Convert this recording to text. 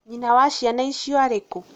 nyina wa ciana icio arĩ kũ?